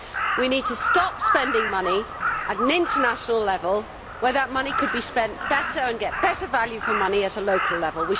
We need to stop spending money at an international level if that money could be spent better and provide better value for money at a local level.